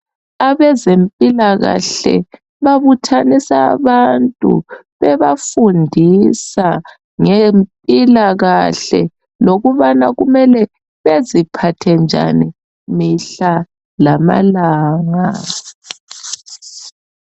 Abezempilakahle babuthanisa abantu bebafundisa ngempilakahle lokubana kumele beziphathe njani mihla lamalanga.